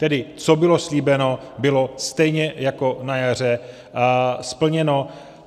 Tedy co bylo slíbeno, bylo stejně jako na jaře splněno.